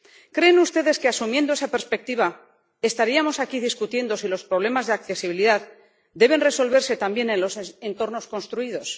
¿Creen ustedes que, asumiendo esa perspectiva, estaríamos aquí discutiendo si los problemas de accesibilidad deben resolverse también en los entornos construidos?